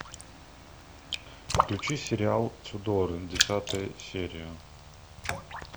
включи сериал тюдоры десятая серия